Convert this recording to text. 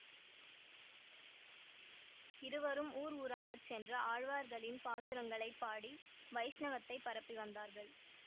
இருவரும் ஊர் ஊராகச் சென்று ஆழ்வார்களின் பாசுரங்களைப் பாடி வைஷ்ணவத்தைப் பரப்பி வந்தார்கள்